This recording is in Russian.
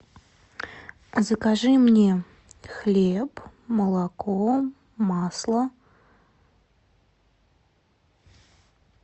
закажи мне хлеб молоко масло